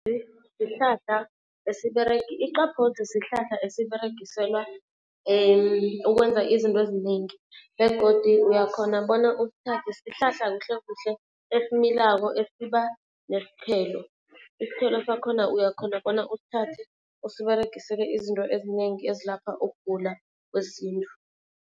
sihlahla esiberega. Iqaphozi sihlahla esiberegiselwa ukwenza izinto ezinengi begodu uyakhona bona usithathe. Sihlahla kuhlekuhle esimilako esiba nesiqhelo. Isithelo sakhona uyakhona bona usithathe usiberegisele izinto ezinengi ezilapha ukugula kwesintu.